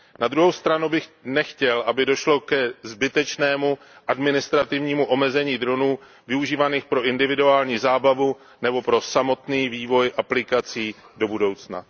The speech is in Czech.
Na druhou stranu bych nechtěl, aby došlo ke zbytečnému administrativnímu omezení dronů využívaných pro individuální zábavu nebo pro samotný vývoj aplikací do budoucna.